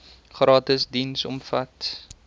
gratis diens omvat